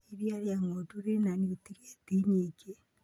Iria ria ng'ondu rĩna niutrienti nyingĩ.